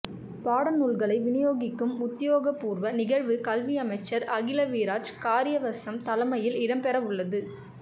பாடநூல்களை விநியோகிக்கும் உத்தியோகபூர்வ நிகழ்வு கல்வியமைச்சர் அகில விராஜ் காரியவசம் தலைமையில் இடம்பெறவுள்ளது